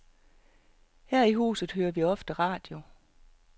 Her i huset hører vi ofte radio.